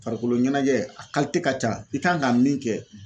Farikolo ɲɛnajɛ a ka ca i kan ka min kɛ